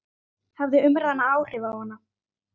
Hafði umræðan áhrif á hana?